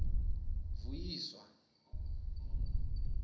vuyiswa